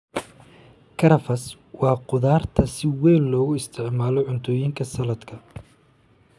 Karafs waa khudrad si weyn loogu isticmaalo cuntooyinka saladka.